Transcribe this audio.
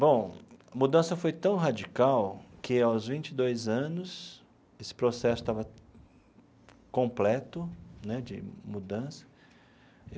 Bom, a mudança foi tão radical que, aos vinte e dois anos, esse processo estava completo né de mudança.